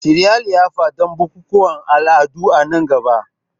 Shirya liyafa don bukukuwan al'adu a nan gaba.